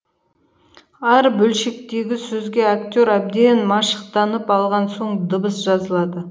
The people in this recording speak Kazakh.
әр бөлшектегі сөзге актер әбден машықтанып алған соң дыбыс жазылады